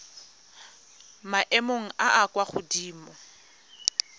maemong a a kwa godimo